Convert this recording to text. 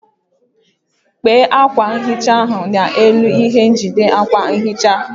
Kpee akwa nhicha ahụ n'elu ihe njide akwa nhicha.